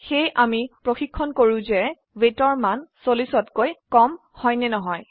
সেয়ে আমি চাই আছো weightৰ মান 40তকৈ কম হয় নেকি